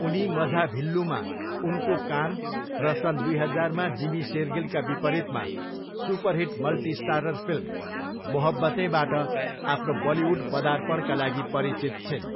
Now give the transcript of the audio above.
उनी मझाभिल्लूमा उनको काम र सन् दुई हजारमा जिमी सेरगिलका विपरीतमा सुपरहिट मल्टीस्टारर फिल्म मोहब्बतेंबाट आफ्नो बलिउड पदार्पणका लागि परिचित छिन्।